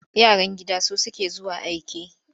Yaran gida su suke zuwa aike.